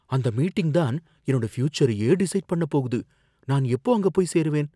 அந்த மீட்டிங் தான் என்னோட ஃபியூச்சரையே டிசைட் பண்ண போகுது. நான் எப்போ அங்க போய் சேருவேன்?